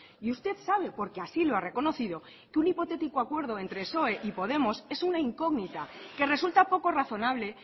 y usted sabe porque así lo ha reconocido que un hipotético acuerdo entre psoe y podemos es una incógnita que resulta poco razonable